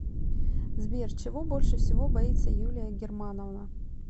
сбер чего больше всего боится юлия германовна